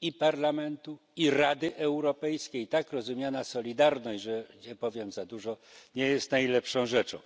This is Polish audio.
i Parlamentu, i Rady Europejskiej, tak rozumiana solidarność, nie powiem za dużo, nie jest najlepszą rzeczą.